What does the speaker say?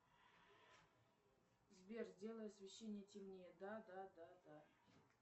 сбер сделай освещение темнее да да да да